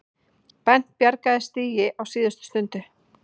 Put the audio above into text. Bent bjargaði stigi á síðustu stundu